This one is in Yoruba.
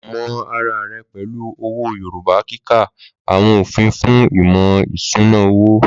Mọ ara rẹ pẹ̀lú owó Yorùbá kíka àwọn òfin fún ìmọ̀ ìṣúná owó.